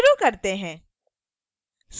शुरू करते हैं